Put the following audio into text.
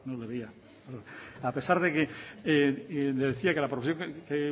no lo veía a pesar le decía que la proposición que